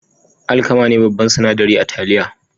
Alkama ne babban sinadari a taliya.